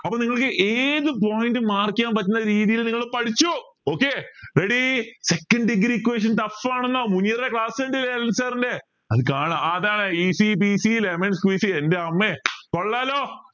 അപ്പോ നിങ്ങൾക്ക് ഏത് point mark ചെയ്യാൻ പറ്റുന്ന രീതിയിൽ നിങ്ങൾ പഠിച്ചു okay ready second degree equation tough ആണോ class അത് കാണാം അതാണ് easy peecee lemon squeezy എൻറമ്മേ കൊള്ളാലോ